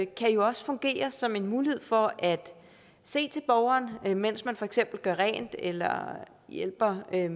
kan jo også fungere som en mulighed for at se til borgeren mens man for eksempel gør rent eller hjælper med